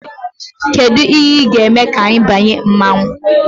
Kedu ihe ị ga-eme ka ị banye mmanwụ?